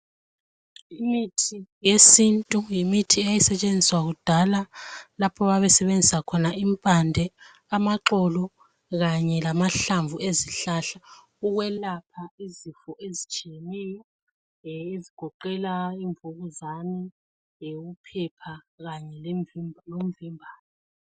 Imithi yesintu yimithi eyayisetshenziswa kudala lapho ababesebenzisa khona impande, amaxolo kanye lamahlamvu ezihlahla ukwelapha izifo ezitshiyeneyo ezigoqela imvukuzane leyokuphepha kanye lomvimbane.